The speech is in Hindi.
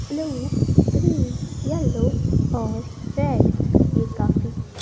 ब्लू ग्रीन येलो और रेड ये काफी--